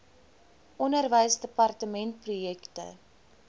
onderwysdepartementprojekte